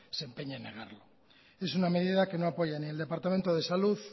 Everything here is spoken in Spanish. se empeñe en negarlo es una medida que no apoya ni el departamento de salud